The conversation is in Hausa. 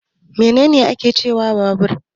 Me ne ne ake cewa babur?